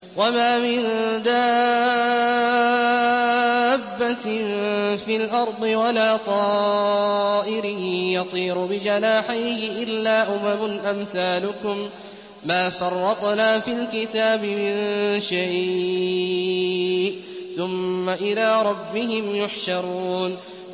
وَمَا مِن دَابَّةٍ فِي الْأَرْضِ وَلَا طَائِرٍ يَطِيرُ بِجَنَاحَيْهِ إِلَّا أُمَمٌ أَمْثَالُكُم ۚ مَّا فَرَّطْنَا فِي الْكِتَابِ مِن شَيْءٍ ۚ ثُمَّ إِلَىٰ رَبِّهِمْ يُحْشَرُونَ